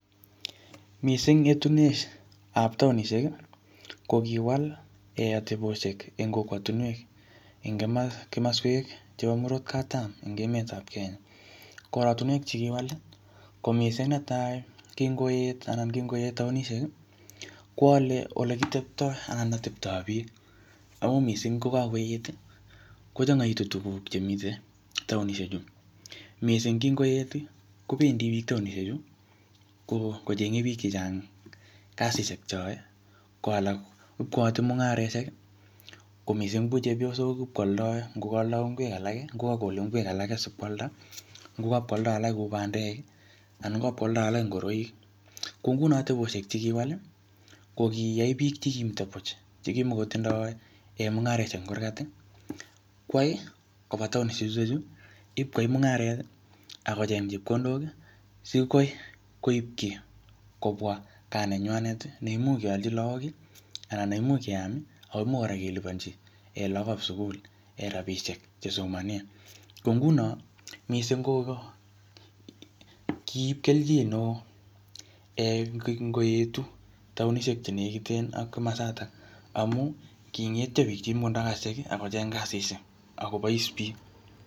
Mising etunetab taonisheki kokiwal ateboshek eng kokwotinwek eng kimoswek chepo murot katam en emetab Kenya korotinwek chekiwali ko mising netai kingoeet ana kingoeet taonisheki kowole ole kiteptoo Alan oteptaa biik akomising kokakoeti kochongoitu tuguk chemiten taonishe chu mising kinkoeti kobendi biik chechang taonishe chu kochenge biik chechang kasishek cheyoe koalak ipkoyoote mungareshek komising kuu chepyosok ipkwoldo ngokoldo ngwek alaki ngo ipkwole ngwek alaki sikwalda ipkwoldo alak kou bandeki anan ipkwoldo alak kou ngoroiki kongunon ateposhek chekiwali kokiyai biik chekimito buch chekimokotindo mungaroshek en kurkat ii kwai koba taonishek cheecheni ipkoiyai mungareti akocheng chepkondoki sikwai koibchi kobwa kaa nenywaneti neimuch koyochi lagoki anan neimuch keam akoimuch kora koliponchi lagokab sugul rapishek chesomonen ko ngunoni mising kiip kelchin neoo en konkoetu taonishek chenekiten ak komosotok amun kingetio biik chekimotindo kasit ak kocheng kasishek ak kobois biik